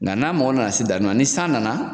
Nka n'an mago nana se danni ma ni san nana